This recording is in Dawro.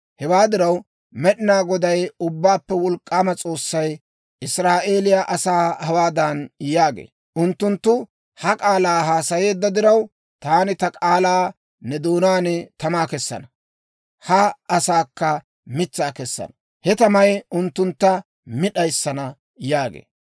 Hewaa diraw, Med'inaa Goday, Ubbaappe Wolk'k'aama S'oossay Israa'eeliyaa asaa hawaadan yaagee; «Unttunttu ha k'aalaa haasayeedda diraw, taani ta k'aalaa ne doonaan tamaa kessana. Ha asaakka mitsaa kessana; he tamay unttuntta mi d'ayissana» yaagee.